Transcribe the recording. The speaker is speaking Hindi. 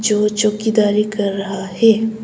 जो चौकीदारी कर रहा है।